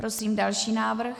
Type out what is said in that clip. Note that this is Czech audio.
Prosím další návrh.